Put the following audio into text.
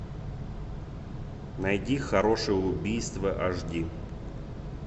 найди хорошее убийство аш ди